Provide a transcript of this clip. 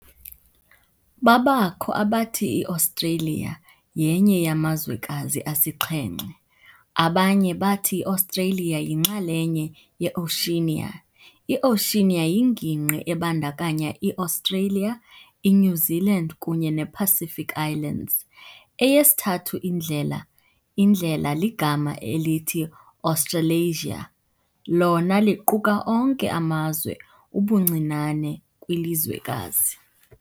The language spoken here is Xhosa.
Babakho abathi iAustralia yenye yamazwekazi asixhenxe. abanye bathi iAustralia yinxalenye ye-Oceania. i-Oceania yingingqi ebandakanya ii-Australia, iNew Zealand kunye nePacific Islands. Eyesithathu indlela indlela ligama elithi Australasia, lona liquka onke amazwe ubuncinane kwilizwekazi